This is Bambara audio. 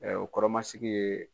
ƐƐ o kɔrɔmasigi ye